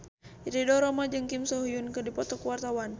Ridho Roma jeung Kim So Hyun keur dipoto ku wartawan